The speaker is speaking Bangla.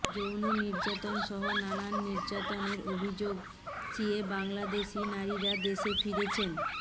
যৌন নির্যাতন সহ নানা নির্যাতনের অভিযোগ সিয়ে বাংলাদেশি নারীরা দেশে ফিরছেন